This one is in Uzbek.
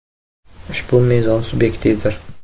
Ushbu mezon subyektivdir.